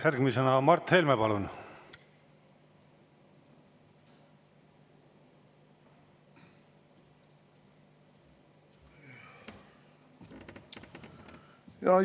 Järgmisena Mart Helme, palun!